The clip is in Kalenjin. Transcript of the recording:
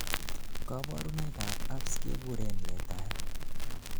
kaborunoik ab herpes kekuren letaet